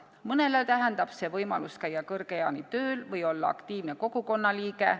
Mõnele tähendab see võimalust käia kõrge eani tööl või olla aktiivne kogukonna liige.